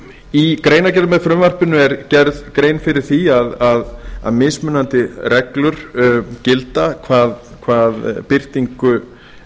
í greinargerð með frumvarpinu er gerð grein fyrir því að mismunandi reglur gilda hvað birtingu